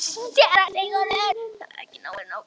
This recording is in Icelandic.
SÉRA SIGURÐUR: Það var ekki nógu gott.